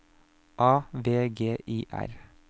A V G I R